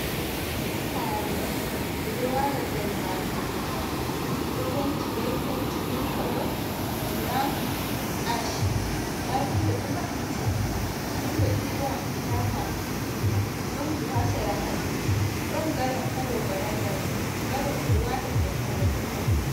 Sare ɓe ɗo wala nder, majum ɗo penti be penti mil kolo brown ash nda windo ɗo mabbiti, windo ɗiɗi ɓo maɓɓitaka, ɗon buhu ha sera mai ɗon galon hado baranda mai galon ɓe ɗo wata ndiyam haa nder totton.